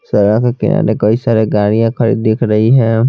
सड़क के किनारे कई सारे गाड़ियाँ खड़ी दिख रही है।